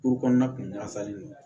Kuru kɔnɔna kun ɲafalen don